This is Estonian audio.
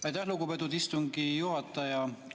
Aitäh, lugupeetud istungi juhataja!